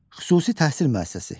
Xüsusi təhsil müəssisəsi.